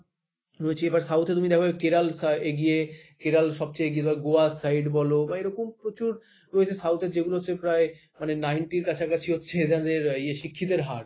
রয়েছি এবার south এ তুমি দেখো কেরাল সা এগিয়ে কেরল সবচেয়ে এগিয়ে দেখো গোয়ার side বল বা এরকম প্রচুর রয়েছে south এর যেগুলো হচ্ছে প্রায় মানে ninety এর কাছাকাছি হচ্ছে এনাদের ইয়ে শিক্ষিতের হার,